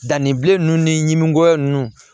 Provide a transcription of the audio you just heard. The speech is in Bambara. Danni bilen ninnu nimisiwa ninnu